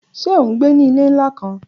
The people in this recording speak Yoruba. Ṣe o ngbe ni ile nla kan?